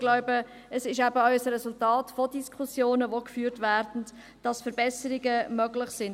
Ich glaube, es ist das Resultat von Diskussionen, welche geführt werden, dass Verbesserungen möglich sind.